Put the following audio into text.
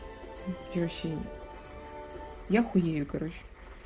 ничего себе я хуею короче